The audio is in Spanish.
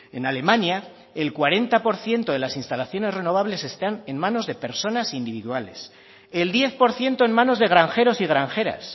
en alemania el cuarenta por ciento de las instalaciones renovables están en manos de personas individuales el diez por ciento en manos de granjeros y granjeras